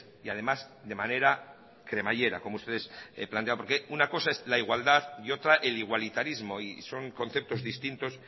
y además de manera cremallera como ustedes plantean porque una cosa es la igualdad y otra el igualitarismo y son conceptos distintos